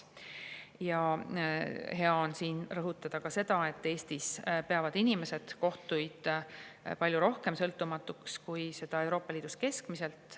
Ja hea on siin rõhutada ka seda, et Eestis peavad inimesed kohtuid palju rohkem sõltumatuks, kui peetakse Euroopa Liidus keskmiselt.